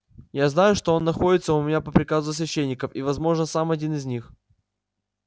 я знаю что он находится у меня по приказу священников и возможно сам один из них